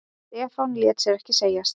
Stefán lét sér ekki segjast.